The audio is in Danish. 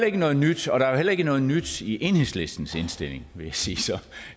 ikke noget nyt og der er heller ikke noget nyt i enhedslistens indstilling vil jeg sige så